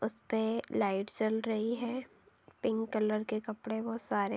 उसपे लाइट्स जल रही है। पिंक कलर के कपड़े वो सारे --